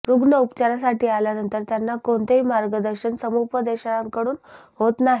रुग्ण उपचारासाठी आल्यानंतर त्यांना कोणतेही मागर्दशन समुपदेशकांकडून होत नाही